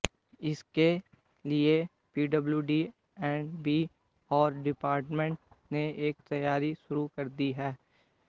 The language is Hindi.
इसके लिए PWD and B R department ने तैयारी शुरू कर दी है